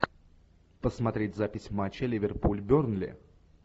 посмотреть запись матча ливерпуль бернли